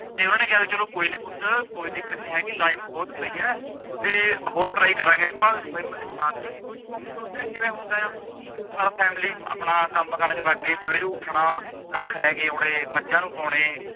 ਤੇ ਉਨਾਂ ਨੇ ਕਿਹਾ ਚਲੋ ਕੋਈ ਨੀ ਪੁੱਤ ਕੋਈ ਦਿੱਕਤ ਨਹੀਂ ਹੈਗੀ life ਬਹੁਤ ਪਈਆ ਤੇ ਹੋਰ try ਕਰਾਂਗੇ ਆਪਾਂ ਹਿੱਮਤ ਨੀ ਹਾਰਨੀ ਮੁਸ਼ਕਿਲ ਕਿਵੇ ਹੁੰਦਾ ਆ family ਆਪਣਾ ਕੰਮ ਕਾਰਾਂ ਚ ਲਾਗ ਗਏ ਸਵੇਰੇ ਉੱਠਣਾ ਕੱਖ ਲੇਕੇ ਆਉਣੇ ਮੱਝਾਂ ਨੂੰ ਪਾਉਣੇ